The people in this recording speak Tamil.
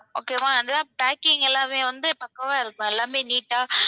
okay வா packing எல்லாமே வந்து பக்கவா இருக்கும். எல்லாமே neat ஆ